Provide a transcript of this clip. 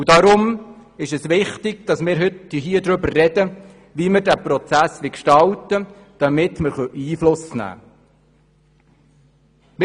Darum ist es wichtig, dass wir heute darüber reden, wie wir diesen Prozess gestalten wollen, damit wir Einfluss nehmen können.